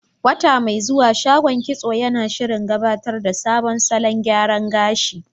Wata mai zuwa, shagon kitso yana shirin gabatar da sabon salon gyara gashi.